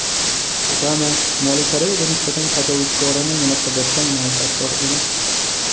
Obama: Shimoliy Koreyaga nisbatan tajovuzkorona munosabatdan manfaatdor emasmiz.